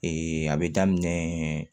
a bɛ daminɛ